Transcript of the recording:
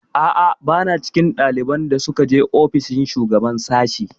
A'a, ba na cikin ɗaliban da suka je ofishin shugaban sashi.